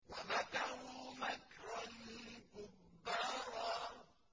وَمَكَرُوا مَكْرًا كُبَّارًا